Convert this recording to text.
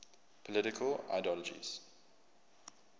political ideologies